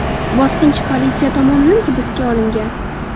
Bosqinchi politsiya tomonidan hibsga olingan.